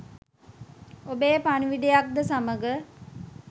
ඔබේ පණිවුඩයක් ද සමඟ